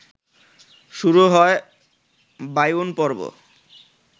শুরু হয় বায়ুন পর্ব